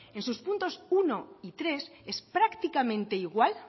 en sus puntos uno y tres es prácticamente igual